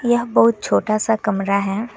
यह बहुत छोटा सा कमरा है।